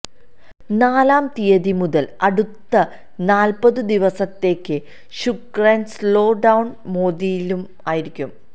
നാലാം തീയതി മുതൽ അടുത്ത നാല്പതു ദിവസത്തേക്ക് ശുക്രൻ സ്ലോ ഡൌൺ മോദിലും ആയിരിക്കും